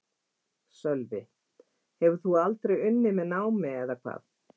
Sölvi: Hefur þú aldrei unnið með námi eða hvað?